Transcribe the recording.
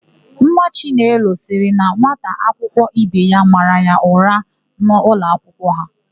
Nwa chinelo sịrị na nwata akwụkwọ ibe ya mara ya ụra n'ụlọakwụkwọ ha.